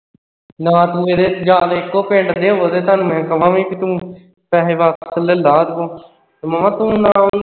ਨਾ ਤੂੰ ਇਹਦੇ ਜਾਂ ਫਿਰ ਇਕੋ ਪਿੰਡ ਦੇ ਹੋਵੋ ਤਾਂ ਮੈਂ ਤੁਹਾਨੂੰ ਕਹਾਂ ਕਿ ਤੂੰ ਪੈਹੇ ਵਾਪਸ ਲੈ ਲਾ ਉਸ ਕੋਲੇ ਮਾਮਾ ਤੂੰ